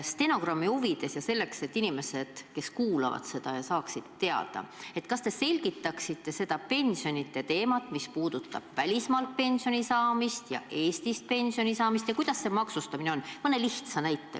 Küsin stenogrammi huvides ja selleks, et inimesed, kes seda kuulavad, saaksid teada: kas te selgitaksite mõne lihtsa näitega seda pensioniteemat, mis puudutab välismaalt pensioni saamist ja Eestist pensioni saamist ja selle maksustamist?